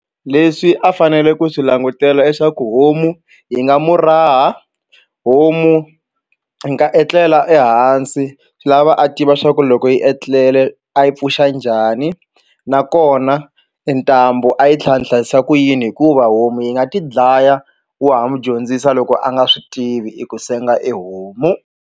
Leswi a fanele ku swi langutela i swaku homu yi nga mu raha homu yi nga etlela ehansi swi lava a tiva swa ku loko yi etlele a yi pfuxa njhani nakona ntambu a yi tlhatlhisa ni hlayisa ku yini hikuva homu yi nga ti dlaya wa ha n'wi dyondzisa loko a nga swi tivi i ku senga e homu.